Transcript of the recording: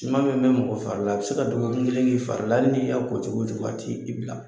Siman bɛ mɛn mɔgɔ fari la, a bɛ se ka dɔgɔku kelen kɛ fari la, hali n'i y'a ko cogo o cogo, a t'i bila.